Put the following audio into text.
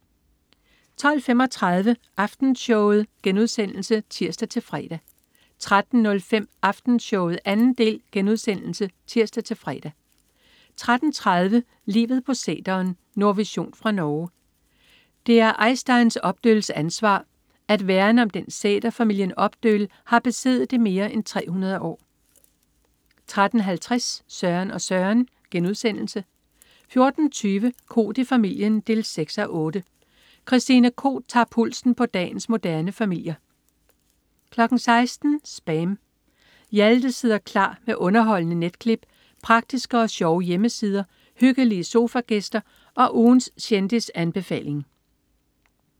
12.35 Aftenshowet* (tirs-fre) 13.05 Aftenshowet 2. del* (tirs-fre) 13.30 Livet på sæteren. Nordvision fra Norge. Det er Eystein Opdøls ansvar at værne om den sæter, familien Opdøl har besiddet i mere end 300 år 13.50 Søren og Søren* 14.20 Koht i familien 6:8. Christine Koht tager pulsen på dagens moderne familier 16.00 SPAM. Hjalte sidder klar med underholdende netklip, praktiske og sjove hjemmesider, hyggelige sofagæster og ugens kendisanbefaling